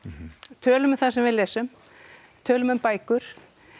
tölum um það sem við lesum tölum um bækur